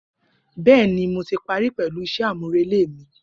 Bẹẹni, Mo ti pari pẹlu iṣẹ amurele mi.